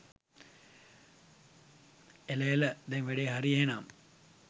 එල එල දැන් වැඩේ හරි එහෙනම්